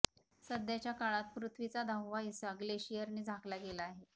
सध्याच्या काळात पृथ्वीचा दहावा हिस्सा ग्लेशियरनं झाकला गेला आहे